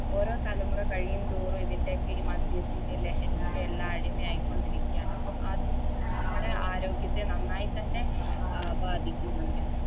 ഓരോ തലമുറ കഴിയും തോറും ഇതിൻറെയൊക്കെ ഈ മദ്യത്തിൻറെ ലഹരിക്കെല്ലാം അടിമയായിക്കൊണ്ടിരിക്കാണ് പ്പം അതും നമ്മുടെ ആരോഗ്യത്തെ നന്നായി തന്നെ ആ ബാധിക്കുന്നുണ്ട്